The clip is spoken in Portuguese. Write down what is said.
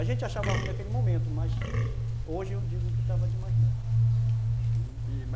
A gente achava ruim naquele momento, mas hoje eu digo que estava demais bom, uhum, e